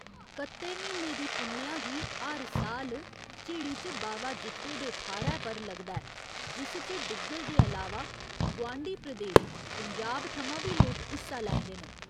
कत्त्ते म्हीने दी पुन्नेआ गी हर साल झिड़ी च बावा जित्तो दे थाह्‌रै पर लगदा ऐ जिस च डुग्गर दे अलावा गोआंढी प्रदेश पंजाब थमां बी लोक हिस्सा लैंदे न।